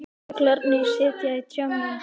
Fuglarnir sitja í trjánum.